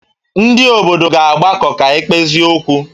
Ndị obodo ga-agbakọ ka e kpezie okwu